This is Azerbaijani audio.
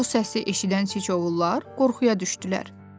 Bu səsi eşidən Siçovullar qorxuya düşdülər.